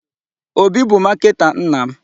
Obi bụ marketer nna m.